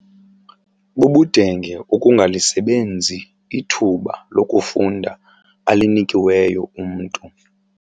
Bubudenge ukungalisebenzi ithuba lokufunda alinikiweyo umntu.